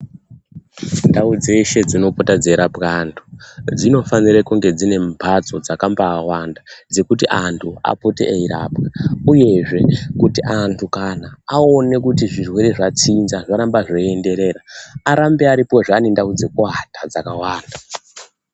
Ndau dzeshe dzinobuda dzeirapwe antu dzinofanire kunge dzine mhatso dzakambaawanda dzekuti antu apote eirapwa uyezve kuti antu kana aone kuti zvirwere zvatsinza zvarambe zveienderera arambe aripozve ane ndau dzekuwata dzakawanda.